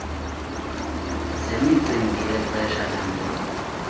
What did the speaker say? zemicimbi yexesha langoku